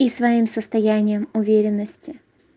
и своим состоянием уверенности